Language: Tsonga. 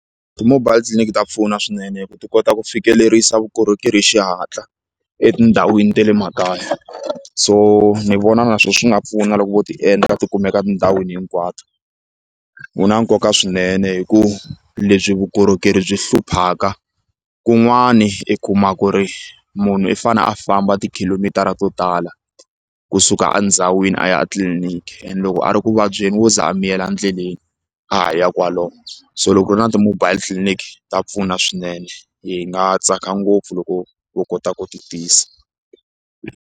Ti-mobile clinic ta pfuna swinene hi ku ti kota ku fikelerisa vukorhokeri hi xihatla etindhawini ta le makaya so ni vona na swona swi nga pfuna loko vo ti endla ti kumeka etindhawini hinkwato wu na nkoka swinene hikuva lebyi vukorhokeri byi hluphaka kun'wani i kuma ku ri munhu i fanele a famba ti khilomitara to tala kusuka endhawini a ya a tliliniki and loko a ri ku vabyeni wo za a miyela endleleni a ha ya kwalomo so loko ku ri na ti-mobile clinic ta pfuna swinene hi nga tsaka ngopfu loko vo kota ku ti tisa.